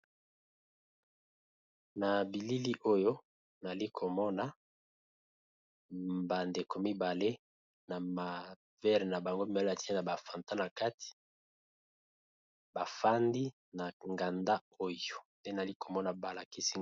Na bilili oyo nali komona bandeko mibale na mavere na bango mibal atine na bafantan na kati bafandi na nganda oyo te nali komona balakisi.